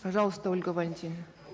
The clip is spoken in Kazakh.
пожалуйста ольга валентиновна